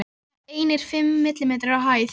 Líklega einir fimm millimetrar á hæð.